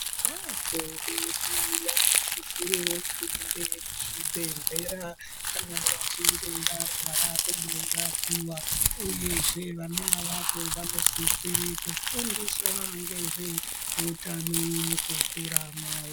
Ana adodori vanosisirewo kuende kuzvibhedhlera kana vachinge varwara vondorapiwa uyezve vana avavo vanosisire kufundiswa ngezveutano mukukura mwawo.